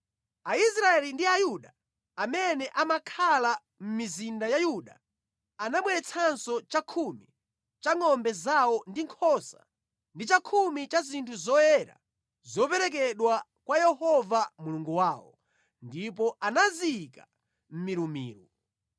Aisraeli ndi Ayuda amene amakhala mʼmizinda ya Yuda anabweretsanso chakhumi cha ngʼombe zawo ndi nkhosa ndi chakhumi cha zinthu zoyera zoperekedwa kwa Yehova Mulungu wawo, ndipo anaziyika mʼmilumilu.